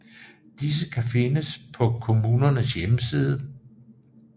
Disse kan findes på kommunens hjemmeside